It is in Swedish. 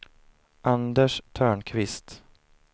Anders Törnqvist